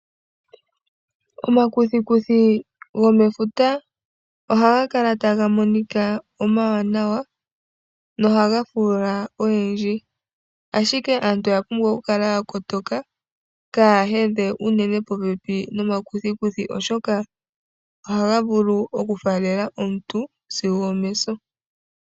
Omakuthikuthi gomefuta ohaga kala taga monika nawa nohaga fuula oyendji. Ashike aantu oya pumbwa okukala ya kotoka kaa ya hedhe unene popepi nomakuthikuthi, oshoka ohaga vulu oku faalela omuntu sigo omeso.